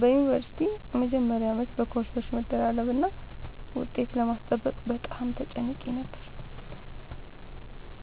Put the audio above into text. በዩኒቨርሲቲ መጀመሪያ ዓመት በኮርሶች መደራረብና ውጤት ለማስጠበቅ በጣም ተጨንቄ ነበር።